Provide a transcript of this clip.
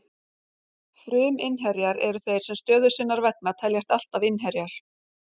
Fruminnherjar eru þeir sem stöðu sinnar vegna teljast alltaf innherjar.